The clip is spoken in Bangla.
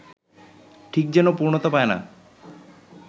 ঠিক যেন পূর্ণতা পায় না